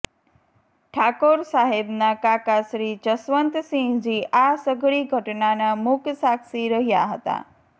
ઠાકોર સાહેબના કાકાશ્રી જશવંતસિંહજી આ સઘળી ઘટનાના મૂક સાક્ષી રહ્યા હતા